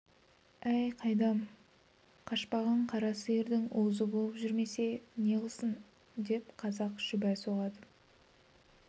әй қайдам қашпаған қара сиырдың уызы болып жүрмесе неғылсын деп қазақ шүбә соғады